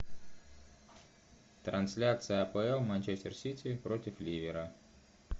трансляция апл манчестер сити против ливера